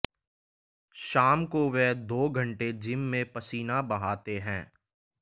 शाम को वे दो घंटे जिम में पसीना बहाते हैं